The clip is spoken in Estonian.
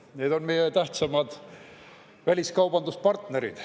Need on meie tähtsaimad väliskaubanduspartnerid.